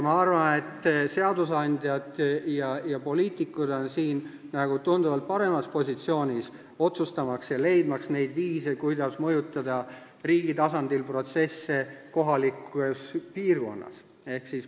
Ma arvan, et seadusandjad ja poliitikud on siin tunduvalt paremas positsioonis, sest nemad saavad otsustada ja leida viise, kuidas mõjutada riigi tasandil protsesse kohalikus piirkonnas.